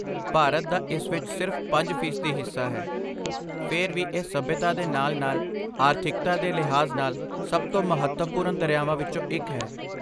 ਭਾਰਤ ਦਾ ਇਸ ਵਿੱਚ ਸਿਰਫ਼ ਪੰਜ ਫ਼ੀਸਦੀ ਹਿੱਸਾ ਹੈ, ਫਿਰ ਵੀ ਇਹ ਸਭਿਅਤਾ ਦੇ ਨਾਲ ਨਾਲ ਆਰਥਿਕਤਾ ਦੇ ਲਿਹਾਜ਼ ਨਾਲ ਸਭ ਤੋਂ ਮਹੱਤਵਪੂਰਨ ਦਰਿਆਵਾਂ ਵਿੱਚੋਂ ਇੱਕ ਹੈ